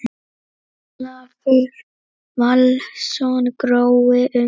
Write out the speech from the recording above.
Ólafur Valsson: Grói um heilt?